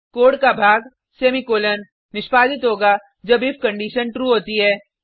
code का भाग semicolon निष्पादित होगा जब इफ कंडिशन ट्रू होती है